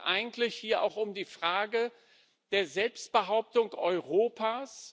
Es geht eigentlich hier auch um die Frage der Selbstbehauptung Europas.